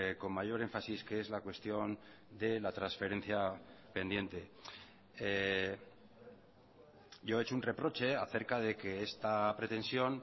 con mayor énfasis que es la cuestión de la transferencia pendiente yo he hecho un reproche acerca de que esta pretensión